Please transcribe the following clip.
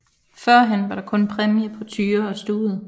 Førhen var der kun præmie på tyre og stude